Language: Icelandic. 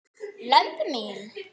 lömb mín.